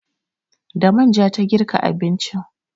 Da manja ta girka abincin.